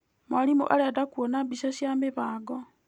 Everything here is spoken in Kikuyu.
Mwarimũ arenda kuona mbica cia mĩbango.